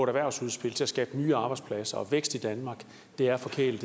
erhvervsudspil til at skabe nye arbejdspladser og vækst i danmark er at forkæle